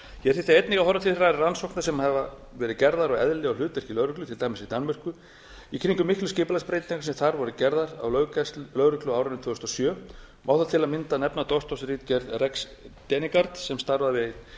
hér þyrfti einnig að horfa til þeirra rannsókna sem gerðar hafa verið á eðli og hlutverki lögreglu til dæmis í danmörku í kringum miklar skipulagsbreytingar sem þar voru gerðar á lögreglu á árinu tvö þúsund og sjö og má þar til að mynda nefna doktorsritgerð rex degnegaard sem starfar við